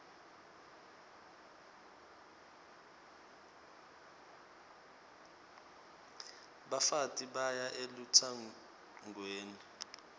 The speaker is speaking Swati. bafati baya elutsangweni